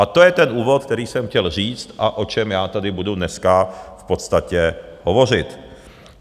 A to je ten úvod, který jsem chtěl říct a o čem já tady budu dneska v podstatě hovořit.